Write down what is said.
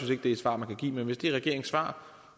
det er et svar man kan give men hvis det er regeringens svar